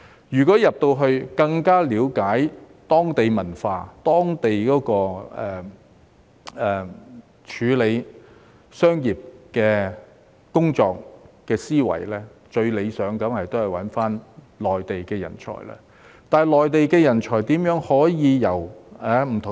如要更了解當地文化、當地處理商業的工作思維，最理想當然是用內地人才。